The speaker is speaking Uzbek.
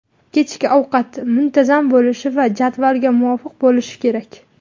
kechki ovqat muntazam bo‘lishi va jadvalga muvofiq bo‘lishi kerak.